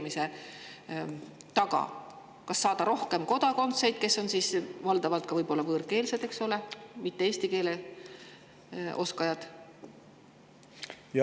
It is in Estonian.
Kas saada rohkem kodakondseid, kes on võib-olla valdavalt võõrkeelsed, mitte eesti keele oskajad?